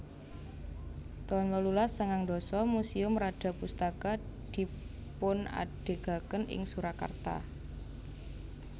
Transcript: taun wolulas sangang dasa Museum Radyapustaka dipunadegaken ing Surakarta